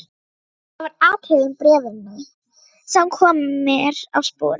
Það var atriði úr bréfinu sem kom mér á sporið.